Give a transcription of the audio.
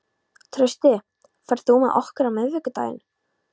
Trausti, ferð þú með okkur á miðvikudaginn?